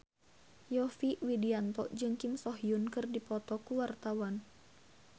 Yovie Widianto jeung Kim So Hyun keur dipoto ku wartawan